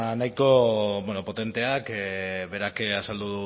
nahiko potenteak berak azaldu